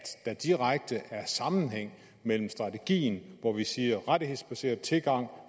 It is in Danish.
en direkte sammenhæng mellem strategien hvor vi siger at rettighedsbaseret tilgang